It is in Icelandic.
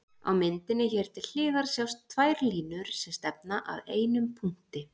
Á myndinni hér til hliðar sjást tvær línur sem stefna að einum punkti.